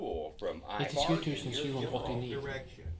nittisju tusen sju hundre og åttini